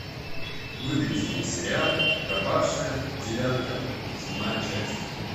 выведи мне сериал пропавшая девятка седьмая часть